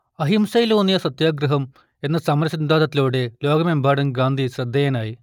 അഹിംസയിലൂന്നിയ സത്യാഗ്രഹം എന്ന സമര സിദ്ധാന്തത്തിലൂടെ ലോകമെമ്പാടും ഗാന്ധി ശ്രദ്ധേയനായി